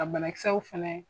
Ka banakisɛw fɛnɛ